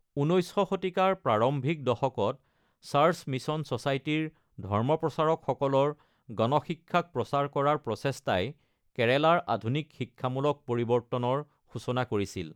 ১৯শ শতিকাৰ প্ৰাৰম্ভিক দশকত, চাৰ্চ মিচন চ'চাইটিৰ ধৰ্মপ্ৰচাৰকসকলৰ গণ শিক্ষাক প্ৰচাৰ কৰাৰ প্ৰচেষ্টাই কেৰালাৰ আধুনিক শিক্ষামূলক পৰিৱৰ্তনৰ সূচনা কৰিছিল।